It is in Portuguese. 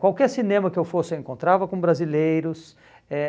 Qualquer cinema que eu fosse eu encontrava com brasileiros. Eh